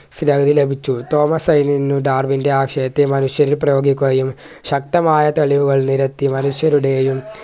ലഭിച്ചു തോമസ് ഐവിയിന് ഡാർവിൻ്റെ ആശയത്തെ മനുഷ്യരിൽ പ്രയോഗിക്കുകയും ശക്തമായ തെളിവുകൾ നിരത്തി മനുഷ്യരുടെയും